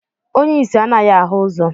Onye isi anaghị ahụ ụzọ